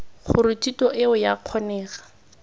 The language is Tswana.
gore thuto eo ea kgonega